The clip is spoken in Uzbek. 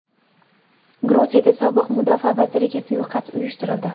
Gruziyada sobiq mudofaa vaziriga suiqasd uyushtirildi.